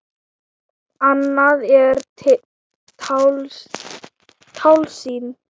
Annað er tálsýn.